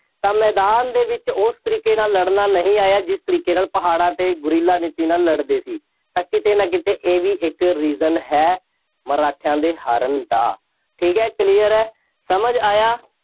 ਤਾਂ ਮੈਦਾਨ ਦੇ ਵਿੱਚ ਉਸ ਤਰੀਕੇ ਨਾਲ ਲੜਨਾ ਨਹੀਂ ਆਇਆ। ਜਿਸ ਤਰੀਕੇ ਨਾਲ ਪਹਾੜਾਂ 'ਤੇ ਗੁਰੀਲਾ ਨੀਤੀ ਨਾਲ ਲੜਦੇ ਸੀ। ਤਾਂ ਕਿਤੇ ਨਾ ਕਿਤੇ ਇਹ ਵੀ ਇੱਕ reason ਹੈ, ਮਰਾਠਿਆਂ ਦੇ ਹਾਰਨ ਦਾ, ਠੀਕ ਹੈ, clear ਹੈ, ਸਮਝ ਆਇਆ।